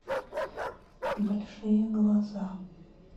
большие глаза